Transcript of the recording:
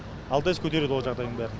алтс көтереді ол жағдайдың бәрін